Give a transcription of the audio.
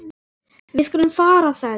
Við skulum fara sagði ég.